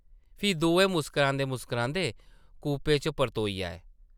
फ्ही दोऐ मुस्करांदे-मुस्करांदे कूपे च परतोई आए ।